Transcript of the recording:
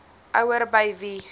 ouer by wie